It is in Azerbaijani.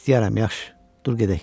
İstəyərəm, yaxşı, dur gedək.